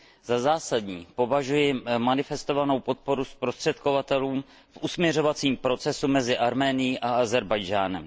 Za zásadní považuji manifestovanou podporu zprostředkovatelům v usmiřovacím procesu mezi Arménií a Ázerbájdžánem.